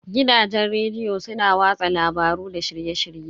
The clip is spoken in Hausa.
Gidajen rediyo su na watsa labaru da shirye-shirye.